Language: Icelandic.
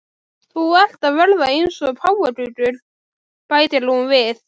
Þú ert að verða eins og páfagaukur, bætir hún við.